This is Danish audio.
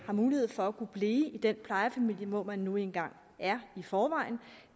mulighed for at kunne blive i den plejefamilie hvor man nu engang er i forvejen